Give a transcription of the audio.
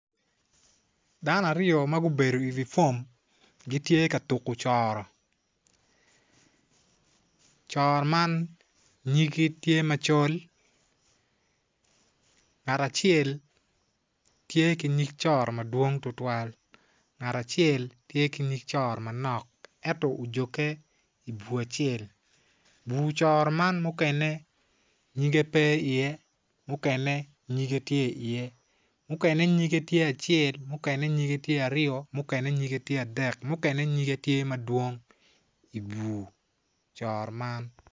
Dano aryo m gubedo iwi fom gitye ka tuko coro coro man nyigi tye macol ngat acel tye ki nyig coro madwong tutwal ngat acel tye ki nyig coro manok enyo ojoge i bur bur coro man mukene nyige pe iye mukene nyige tye iye mukene nyige tye acel mukene nyige tye aryo mukene nyige tye adek mukene nyige tye madwong i bur coro man.